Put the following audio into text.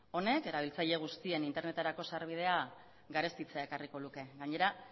honek erabiltzaile guztien interneterako sarbidea garestitzea ekarriko luke gainera